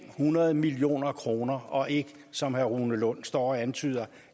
hundrede million kroner og ikke som herre rune lund står og antyder